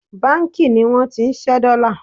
banki ni won ti nse dollar